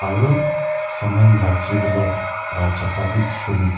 aro saman rakibolae la jaga b sun.